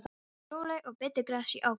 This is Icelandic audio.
Þau voru róleg og bitu gras í ákafa.